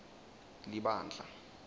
libandla